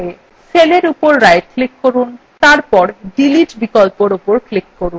cellএর উপর right click করুন এবং তারপর delete বিকল্পর উপর click করুন